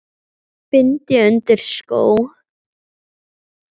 bind ég undir skó